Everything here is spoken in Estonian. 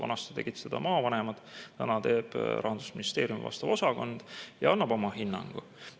Vanasti tegid seda maavanemad, nüüd teeb Rahandusministeeriumi vastav osakond ja annab oma hinnangu.